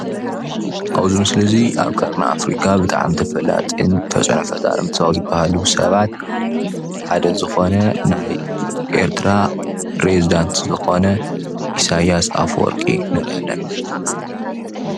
ኣብዚ ምስሊ እዙይ ኣብ ቀርኒ ኣፍርካ ብጣዕሚ ተፈላጥን ተፅዕኖ ፈጣሪን ካብዝብሃሉ ሰባት ሓደ ዝኮነ ናይ ኤርትራ ፕሬዚዳንት ዝኮነ ኢሳያስ ኣፈወርቂ ንርኢ ኣለና ፡፡